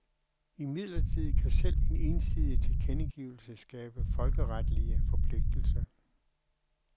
Imidlertid kan selv en ensidig tilkendegivelse skabe folkeretlige forpligtelser.